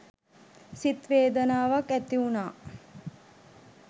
සිත් වේදනාවක් ඇති වුණා.